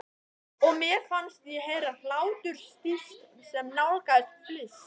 Og mér fannst ég heyra hláturstíst sem nálgaðist fliss.